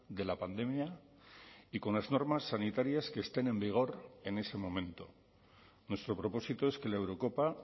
de la pandemia y con las normas sanitarias que estén en vigor en ese momento nuestro propósito es que la eurocopa